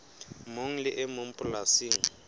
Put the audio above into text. mong le e mong polasing